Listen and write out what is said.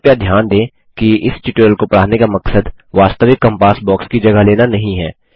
कृपया ध्यान दें कि इस ट्यूटोगियल को पढ़ाने का मकसद वास्तविक कॅम्पास बॉक्स की जगह लेना नहीं है